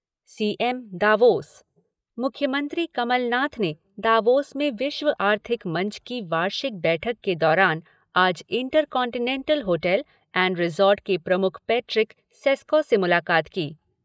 CM Davos मुख्यमंत्री कमल नाथ ने Davos में विश्व आर्थिक मंच की वार्षिक बैठक के दौरान आज intercontinental hotel and resort के प्रमुख पेट्रिक सेस्कॉ से मुलाकात की।